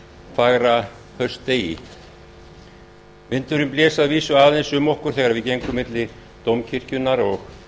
fagra haustdegi vindurinn blés að vísu aðeins um okkur þegar við gengum milli dómkirkjunnar og